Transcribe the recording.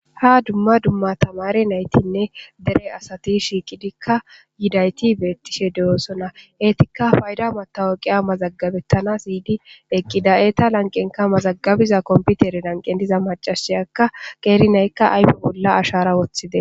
Ha dumma dumma tamare naytinne dere asati shiiqidikka yidayti beettishe de7oosona eetikka fayda matawaqiya mazagabettana siydi eqqida eeta lanqenka mazagabiza komputere lanqen diza macashiyakka qeeri naykka ayfe bolla ashara woththide